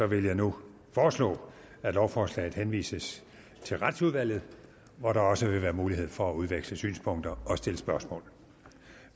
vil jeg nu foreslå at lovforslaget henvises til retsudvalget hvor der også vil være mulighed for at udveksle synspunkter og stille spørgsmål